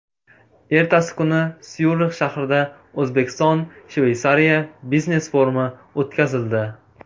Ertasi kuni Syurix shahrida O‘zbekiston-Shveysariya biznes-forumi o‘tkazildi.